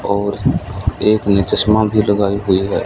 और एक ने चश्मा भी लगाई हुई है।